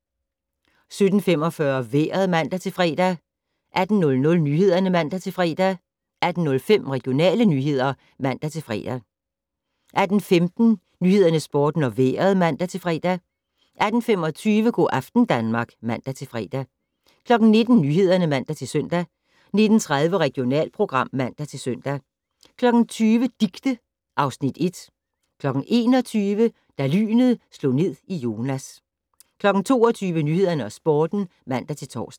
17:45: Vejret (man-fre) 18:00: Nyhederne (man-fre) 18:05: Regionale nyheder (man-fre) 18:15: Nyhederne, Sporten og Vejret (man-fre) 18:25: Go' aften Danmark (man-fre) 19:00: Nyhederne (man-søn) 19:30: Regionalprogram (man-søn) 20:00: Dicte (Afs. 1) 21:00: Da lynet slog ned i Jonas 22:00: Nyhederne og Sporten (man-tor)